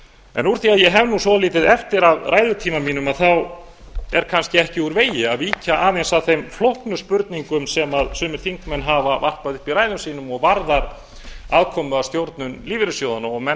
núna úr því að ég á svolítið eftir af ræðutíma mínum þá er kannski ekki úr vegi að víkja aðeins að þeim flóknu spurningum sem sumir þingmenn hafa varpað upp í ræðum sínum og varðar afkomu að stjórnun lífeyrissjóðanna og menn